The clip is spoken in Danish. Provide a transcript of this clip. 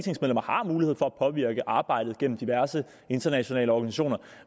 påvirke arbejdet gennem diverse internationale organisationer